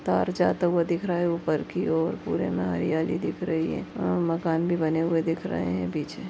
तार जाता हुआ दिख रहा है ऊपर की ओरपूरे मे हरियाली दिख रही हैऔर मकान भी बने हुए दिख रहे हैं पीछे।